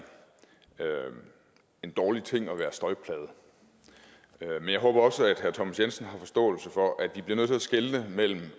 en dårlig ting at være støjplaget men jeg håber også at herre thomas jensen har forståelse for at vi bliver nødt til at skelne mellem